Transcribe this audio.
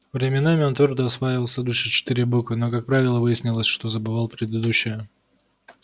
временами он твёрдо осваивал следующие четыре буквы но как правило выяснялось что забывал предыдущие